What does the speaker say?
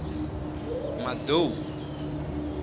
madou